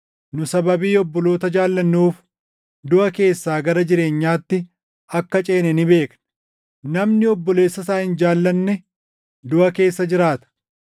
Nu sababii obboloota jaallannuuf duʼa keessaa gara jireenyaatti akka ceene ni beekna. Namni obboleessa isaa hin jaallanne duʼa keessa jiraata.